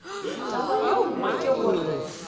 taba ye nngwe ke gore